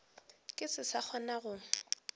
ke se sa kgona go